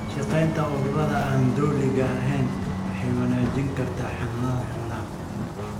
La shaqaynta ururada aan dowliga ahayn waxay wanaajin kartaa xanaanada xoolaha.